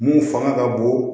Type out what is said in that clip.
Mun fanga ka bon